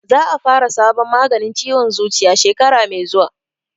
Za a fara sabon maganin ciwon zuciya shekara mai zuwa